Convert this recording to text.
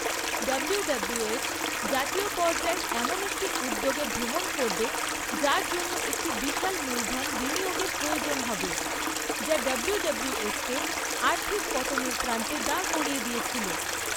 WWF জাতীয় পর্যায়ে এমন একটি উদ্যোগে ভ্রমণ করবে যার জন্য একটি বিশাল মূলধন বিনিয়োগের প্রয়োজন হবে, যা ডাব্লুডাব্লুএফকে আর্থিক পতনের প্রান্তে দাঁড় করিয়ে দিয়েছিল।